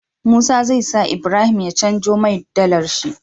Musa zai sa Ibrahim ya canjo mai dalar shi